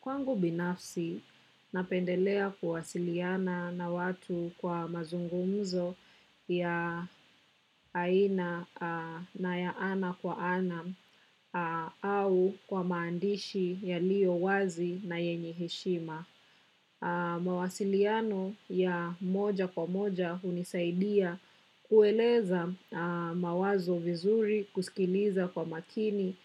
Kwangu binafsi napendelea kuwasiliana na watu kwa mazungumzo ya ana kwa ana au kwa maandishi yaliyo wazi na yenye heshima. Mawasiliano ya moja kwa moja hunisaidia kueleza mawazo vizuri, kusikiliza kwa makini